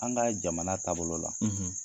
An ka jamana taabolo la,